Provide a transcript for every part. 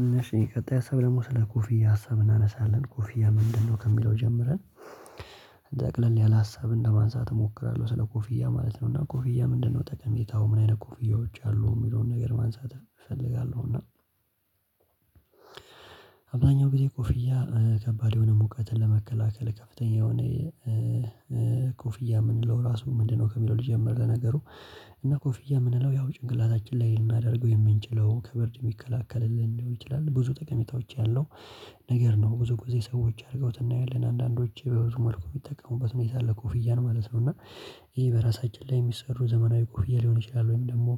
እነሽ የቀጣይ ሀሳብ ደግሞ ስለ ኮፍያ ሀሳብ እናነሳለን ኮፍያ ምንድነው ከሚለው ጀምረን ጠቅለል ያለ ሀሳብ እንደማንሳት እሞክራለሁ ስለ ኮፍያ ማለት ነው እና ኮፍያ ምንድነው ጠቀሜታው ምን አይነት ኮፍያዎች አሉ? አብዛኛው ጊዜ ኮፍያ ከባድ የሆነ ሙቀትን ለመከላከል ከፍተኛ የሆነ ኮፍያ የምንለው ራሱ ምንድነው ከሚለው ልጀምር ለነገሩ እና ኮፍያ የምንለው ያው ጭንቅላታችን ላይ ልናደርገው የምንችለው ከብርድ የሚከላከልልን ሊሆን ይችላል ብዙ ጠቀሜታዎች ያለው ነገር ነው። ብዙ ጊዜ ሰዎች አድርገውት እናያለን አንዳንዶች በብዙ መልኩ የሚጠቀሙበት ሁኔታ አለ ኮፍያንማለት ነው። እና ይሄ በራሳችን ላይ የሚሰሩ ዘመናዊ ኮፍያ ሊሆን ይችላል ወይም ደግሞ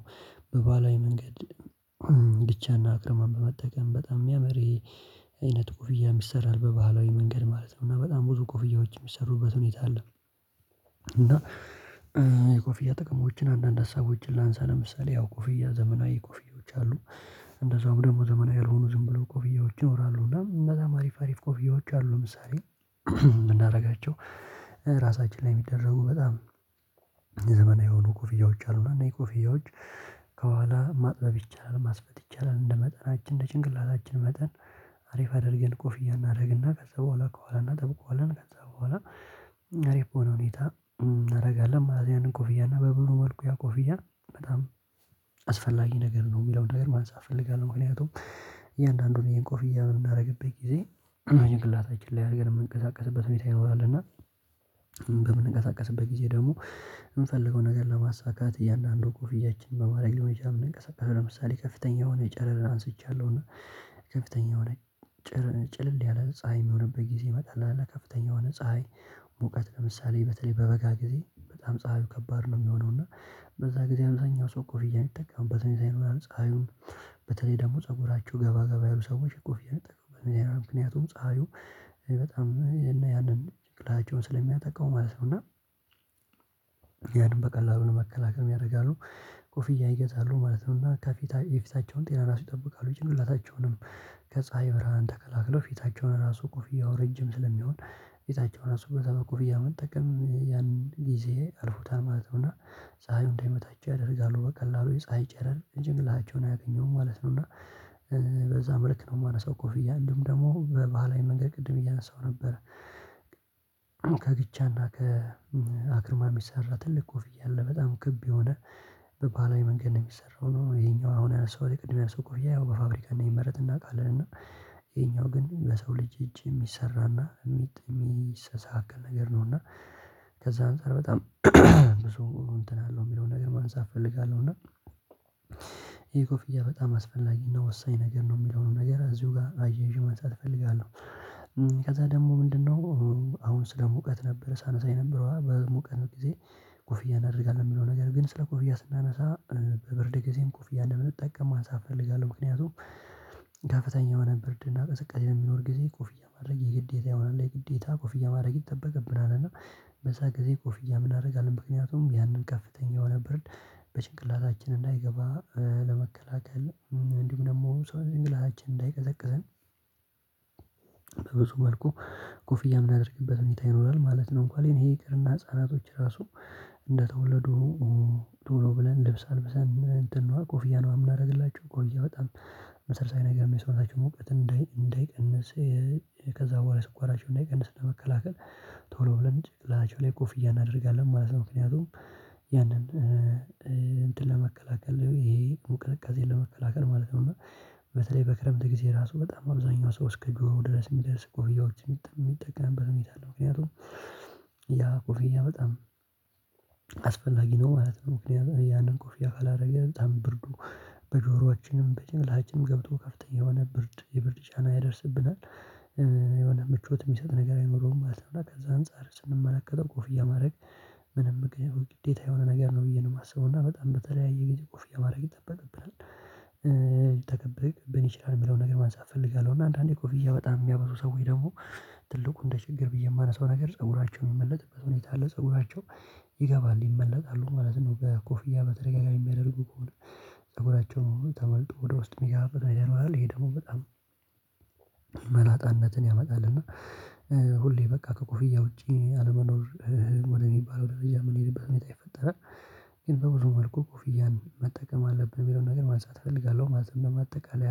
በባላዊ መንገድ እንግጫና አክርማን በመጠቀም በጣም የሚያምር አይነት ኮፍያም ይሰራል በባህላዊ መንገድ ማለት ነው እና በጣም ብዙ ኮፍያዎች የሚሰሩበት ሁኔታ አለ። እና የኮፍያ ጥቅሞችን አንዳንድ ሀሳቦችን ላንሳ ለምሳሌ ያው ኮፍያ ዘመናዊ ኮፍያዎች አሉ እንደዛውም ደግሞ ዘመናዊ ያልሆኑ ዝም ብለው ኮፍያዎች ይኖራሉ። እና እነዛም አሪፍ አሪፍ ኮፍያዎች አሉ ምሳሌ የምናደርጋቸው ራሳችን ላይ የሚደረጉ በጣም የዘመናዊ የሆኑ ኮፍያዎች አሉና እና እኔ ኮፍያዎች ከኋላ ማጥበብ ይቻላል ማስፋት ይቻላል። እንደ መጠናችን እንደ ጭንቅላታችን መጠን አሪፍ አድርገን ኮፍያ እናደርግና ከዛ በኋላ ከዋለና ጠብቆ አለን ከዛ በኋላ ሬፖን ሁኔታ እናደርጋለን ማለት ያንን ኮፍያና በብሩ መልኩ ያ ኮፍያ በጣም አስፈላጊ ነገር ነው የሚለውን ነገር ማንሳት እፈልጋለሁ። ምክንያቱም እያንዳንዱን ይሄን ኮፍያ የምናደርግበት ጊዜ እና ጭንቅላታችን ላይ አድርገን የምንቀሳቀስበት ሁኔታ ይኖራል እና በምንቀሳቀስበት ጊዜ ደግሞ የምፈልገውን ነገር ለማሳካት እያንዳንዱ ኮፍያችን በማድረግ ሊሆን ይችላል። ለምሳሌ ከፍተኛ የሆነ ጨረር አንስቻለሁ እና ከፍተኛ የሆነ ጨረር ጭልል ያለ ፀሀይ የሚሆንብህ ጊዜ ይመጣል አለ ከፍተኛ የሆነ ፀሀይ ሙቀት ለምሳሌ በተለይ በበጋ ጊዜ በጣም ፀባዩ ከባድ ነው። የሚሆነው እና በዛ ጊዜ አብዛኛው ሰው ኮፍያ የሚጠቀምበት ሁኔታ ፀሀዩ በተለይ ደግሞ ፀጉራቸው ገባ ገባ ያሉ ሰዎች ኮፍያ ይጠቀማሉ ምክንያቱም ፀሀዩ በጣም ያንን ጭቅላቸውን ስለሚያጠቃው ማለት ነው እና ያንም በቀላሉ ለመከላከል ያደርጋሉ ኮፍያ ይገዛሉ ማለት ነው። እና ከፊታቸው የፊታቸውን ጤና ራሱ ይጠብቃሉ ጭንቅላታቸውንም ከፀሀይ ብርሃን ተከላልለው ፊታቸውን ራሱ ኮፍያው ረጅም ስለሚሆን ፊታቸው ራሱ በዚያ በኮፍያ መጠቀም ያንን ጊዜ አልፎታል ማለት ነው እና ፀሀዩ እንዳይመታቸው ያደርጋሉ በቀላሉ የፀሀይ ጨረር ጭንቅላታቸውን አያገኘውም ማለት ነው። እና በዛ መልክ ነው እማነሳው ኮፍያን እንዲሁም ደግሞ በባህላዊ መንገድ ቅድም እያነሳው ነበር ከግቻና ከአክርማ የሚሰራ ትልቅ ኮፍያ አለ በጣም ክብ የሆነ ባህላዊ መንገድ ነው የሚሰራው ነው። ይሄኛው አሁን ያነሳሁት የቅድም ያነሳሁት ኮፍያ ያው በፋብሪካ እንደሚመረጥ እናውቃለን እና ይሄኛው ግን በሰው ልጅ እጅ የሚሰራና የሚጥም የሚስተካካል ነገር ነውና ከዛ አንፃር በጣም ብዙ እንትን አለው የሚለውን ነገር ማንሳት እፈልጋለሁ። እና እና ይሄ ኮፍያ በጣም አስፈላጊና ወሳኝ ነገር ነው የሚለውን ነገር እዚሁ ጋር አያይዤ ማንሳት እፈልጋለሁ። ከዛ ደግሞ ምንድነው አሁን ስለ ሙቀት ነበር ሳነሳ የነበረው በሙቀት ጊዜ ኮፍያ እናደርጋለን የሚለው ነገር ግን ስለ ኮፍያ ስናነሳ በብርድ ጊዜም ኮፍያ እንደምንጠቀም ማንሳት እፈልጋለሁ ምክንያቱም ከፍተኛ የሆነ ብርድ እና ቅዝቃዜ የሚኖር ጊዜ ኮፍያ ማድረግ የግዴታ ይሆናል የግዴታ ኮፍያ ማድረግ ይጠበቅብናል። እና በዛ ጊዜ ኮፍያ ምን አደርጋለሁ ምክንያቱም ያንን ከፍተኛ የሆነ ብርድ በጭንቅላታችን እንዳይገባ ለመከላከል እንዲሁ ደግሞ ሰው ጭንቅላታችንን እንዳይቀዘቅዝን መልኩ ኮፍያ እምንደረግበት ሁኔታ ይኖራል ማለት ነው። እንኳን ይሄ ይቅርና ህፃናቶች ራሱ እንደተወለዱ ቶሎ ብለን ልብስ አልብሰን እንትን ነው ኮፍያ ነው የምናደርግላቸው ኮፍያ በጣም መሰረታዊ ነገር ነው የሰውነታቸው ሙቀት እንዳይቀንስ ከዛ በኋላ ስኳራቸው እንዳይቀንስ ለመከላከል ቶሎ ብለን ጭንቅላቸው ላይ ቁፍያ እናደርጋለን ማለት ነው። ምክንያቱም ያንን እንትን ለመከላከል ይሄ ሙ ቅዝቃዜን ለመከላከል ማለት ነው እና በተለይ በክረምት ጊዜ ራሱ በጣም አብዛኛው ሰው እስከ እግሩ ድረስ የሚደርስ ኮፍያዎችን የሚጠቀምበት ሁኔታ አለ ምክንያቱም ያ ኮፍያ በጣም አስፈላጊ ነው ማለት ነው። ያንን ኮፍያ ካላደረገ በጣም ብርዱ በጆሮአችንም በጭንቅላችንም ገብቶ ከፍተኛ የሆነ ብርድ ሊበርድና ጫና ያደርስብናል የሆነ ምቾት የሚሰጥ ነገር አይኖረውም ማለት ነው። ከዛ አንፃር ስንመለከተው ኮፍያ ማድረግ ምንም ግዴታ የሆነ ነገር ነው ብዬ ነው የማስበው እና በጣም በተለያየ ጊዜ ኮፍያ ማድረግ ይጠበቅብናል። ብንችላል የሚለውን ነገር ማንሳት እፈልጋለሁ እና አንዳንዴ ኮፍያ በጣም የሚያበዙ ሰዎች ደግሞ ትልቁ እንደ ችግር ብዬ የማነሳው ነገር ፀጉራቸውን የሚመለጥበት ሁኔታ አለ ፀጉራቸው ይገባል ይመለጣሉ ማለት ነው። በኮፍያ በተደጋጋሚ የሚያደርጉ ከሆነ ፀጉራቸውን ተመልጦ ወደ ውስጥ የሚገባበት አይደለም ይሄ ደግሞ በጣም መላጣነትን ያመጣል። እና ሁሌ በቃ ከኮፍያ ውጪ አለመኖር ወደሚባለው ደረጃ የምንሄድበት ሁኔታ ይፈጠራል ግን በብዙ መልኩ ኮፍያን መጠቀም አለብን የሚለውን ነገር ማጽዳት እፈልጋለሁ። ማጽዳት ለማጠቃለል